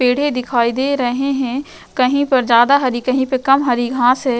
पेड़ दिखाई दे रहे हैं। कहीं पर ज्यादा हरी कहीं पर कम हरी घास है।